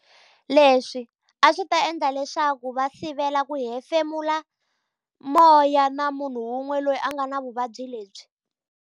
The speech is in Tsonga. Leswi a swi ta endla leswaku va sivela ku hefemula moya na munhu wun'we loyi a nga na vuvabyi lebyi.